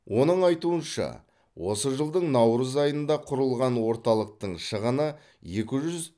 оның айтуынша осы жылдың наурыз айында құрылған орталықтың шығыны екі жүз